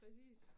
Præcis